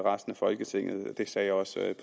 resten folketinget det sagde jeg også